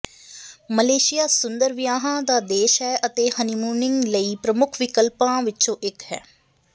Malaysia ਸੁੰਦਰ ਵਿਆਹਾਂ ਦਾ ਦੇਸ਼ ਹੈ ਅਤੇ ਹਨੀਮੂਨਿੰਗ ਲਈ ਪ੍ਰਮੁੱਖ ਵਿਕਲਪਾਂ ਵਿਚੋਂ ਇਕ ਹੈ